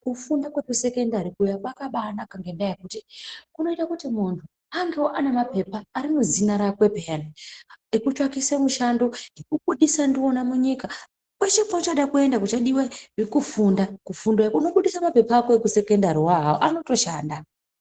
Kufunda kwekusekendari kuya kwakaba naka ngendaa yekuti kunoitewo kuti muntu aitewo mapepa arimuzina rake pyane ekutsvakise mushando ,kudisa nawo munyika ,kwese kuchade kuendwa kunodiwe zvekufunda kufundo yako. Unobudise mapepa ako ekusekondariwo awawo ,anotoshanda.